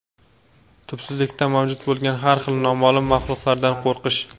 tubsizligida mavjud bo‘lgan har xil noma’lum maxluqlardan qo‘rqish.